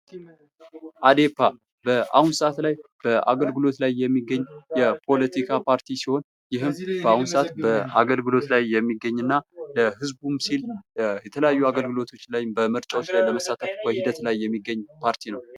አዴፓ በአሁን ሰዓት ላይ በአገልግሎት ላይ የሚገኝ የፖለቲካ ፓርቲ ሲሆን በአሁን አገልግሎት ላይ የሚገኝ ለህዝቡም ሲል በተለያዩ አገልግሎቶች ላይ በምርጫዎች በመሳተፍ በሂደት ላይ የሚገኝ ፓርቲ ነው።